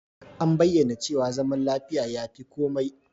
An bayyana cewa zaman lafiya ya fi komai.